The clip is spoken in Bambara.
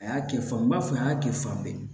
A y'a kɛ faaba n b'a fɔ a y'a kɛ fan bɛɛ